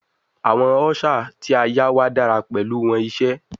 Awọn ushers ti a yá wà dara pẹlu wọn ise